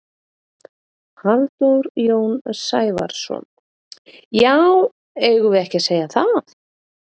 Halldór Jón Sævarsson: Já eigum við ekki að segja það?